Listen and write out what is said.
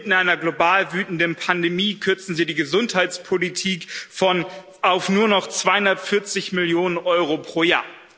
Inmitten einer global wütenden Pandemie kürzen Sie die Gesundheitspolitik auf nur noch 240 Millionen Euro pro Jahr.